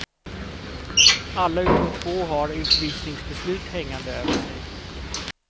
Alla utom två har utvisningsbeslut hängande över sig.